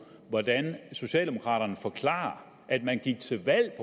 hvordan socialdemokraterne forklarer at man gik til valg